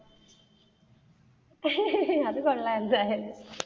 അത് കൊള്ളാം എന്തായാലും.